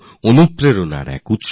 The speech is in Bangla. তিনি আমাদের জন্য খুবই প্রেরণাদায়ক